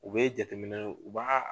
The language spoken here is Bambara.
U bɛ jateminɛ u ba